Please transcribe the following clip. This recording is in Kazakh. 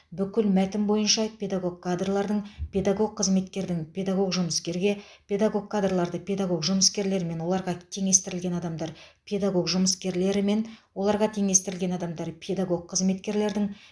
бүкіл мәтін бойынша педагог кадрлардың педагог қызметкердің педагог жұмыскерге педагог кадрларды педагог жұмыскерлер мен оларға теңестірілген адамдар педагог жұмыскерлері мен оларға теңестірілген адамдары педагог қызметкерлердің